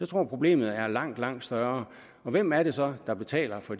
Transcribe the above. tror problemet er langt langt større og hvem er det så der betaler for